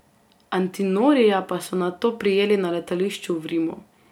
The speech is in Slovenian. Antinorija pa so nato prijeli na letališču v Rimu.